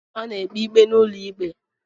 A na-ekpebi ikpe n'ụlọ ikpe